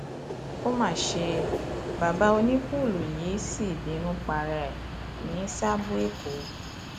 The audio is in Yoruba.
ó má ṣe bàbá onípùùlù yìí sí bínú para ẹ ní sáàbọ èkó